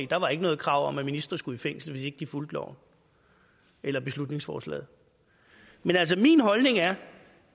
der var ikke noget krav om at ministre skulle i fængsel hvis ikke de fulgte loven eller beslutningsforslaget men altså min holdning er